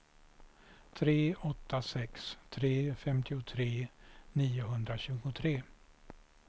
tre åtta sex tre femtiotre niohundratjugotre